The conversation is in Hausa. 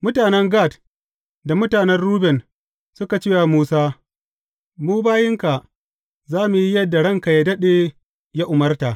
Mutanen Gad da mutanen Ruben, suka ce wa Musa, Mu bayinka za mu yi yadda ranka yă daɗe ya umarta.